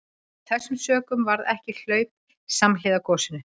Af þessum sökum varð ekki hlaup samhliða gosinu.